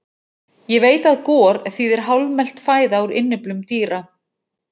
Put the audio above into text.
Ég veit að gor þýðir hálfmelt fæða úr innyflum dýra.